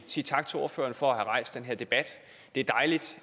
sige tak til ordføreren for at have rejst den her debat det er dejligt